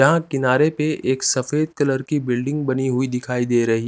यहाँ किनारे पे एक सफ़ेद कलर की बिल्डिंग बनी हुई दिखाई दे रही--